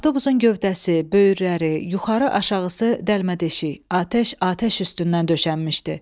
Avtobusun gövdəsi, böyürləri, yuxarı-aşağısı dəlmədeşik, atəş atəş üstündən döşənmişdi.